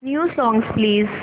new songs please